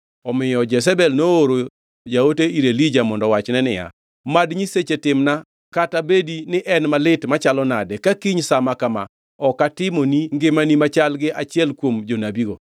omiyo Jezebel nooro jaote ir Elija mondo owachne niya, “Mad nyiseche timna kata bedi ni en malit machalo nade ka kiny sa ma kama ok atimo ni ngimani machal gi achiel kuom jonabigo.”